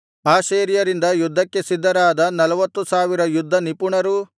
ಆಶೇರ್ಯರಿಂದ ಯುದ್ಧಕ್ಕೆ ಸಿದ್ಧರಾದ ನಲ್ವತ್ತು ಸಾವಿರ ಯುದ್ಧನಿಪುಣರು